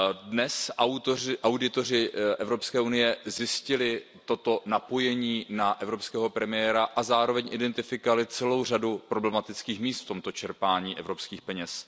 Dnes auditoři Evropské unie zjistili toto napojení na českého premiéra a zároveň identifikovali celou řadu problematických míst v tomto čerpání evropských peněz.